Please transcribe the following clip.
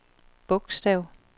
bogstav